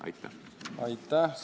Aitäh!